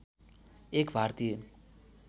एक भारतीय